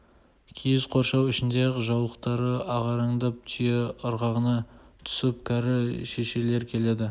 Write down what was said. киіз қоршау ішінде ақ жаулықтары ағараңдап түйе ырғағына түсіп кәрі шешелер келеді